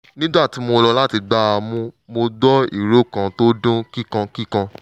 nígbà tí mo lọ láti gbá a mú mo gbọ́ ìró kan tó dún kíkankíkan